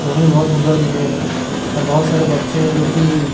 बहुत सुंदर दिख रहे हैं और बहुत सारे बच्चे हैं जो कि--